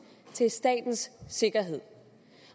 til statens sikkerhed